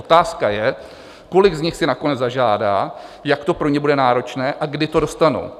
Otázka je, kolik z nich si nakonec zažádá, jak to pro ně bude náročné a kdy to dostanou.